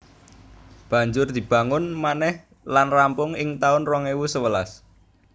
Banjur dibangun manèh lan rampung ing taun rong ewu sewelas